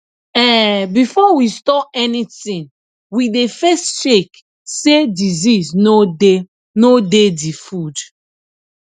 um before we store anything we dey first check say disease no dey no dey the food